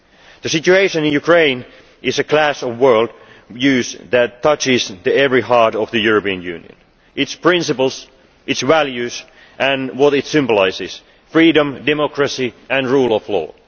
The situation in Ukraine is a clash of world views that touches the very heart of the European Union, its principles, its values and what it symbolises freedom, democracy and rule of law.